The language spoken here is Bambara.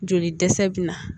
Joli dɛsɛ bɛ na